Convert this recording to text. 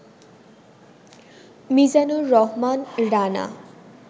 Mizanur Rahman Rana